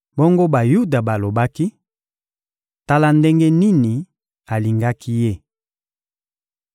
Bongo Bayuda balobaki: — Tala ndenge nini alingaki ye!